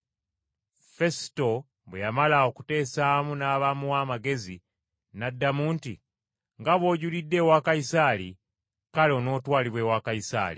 Fesuto, bwe yamala okuteesaamu n’abamuwa amagezi, n’addamu nti, “Nga bw’ojulidde ewa Kayisaali, kale, onootwalibwa ewa Kayisaali.”